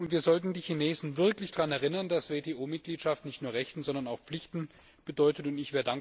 Und wir sollten die Chinesen wirklich daran erinnern, dass WTO Mitgliedschaft nicht nur Rechte, sondern auch Pflichten mit sich bringt.